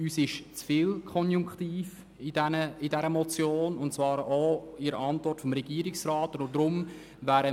Uns lässt die Motion, aber auch die Antwort des Regierungsrats zu viel offen.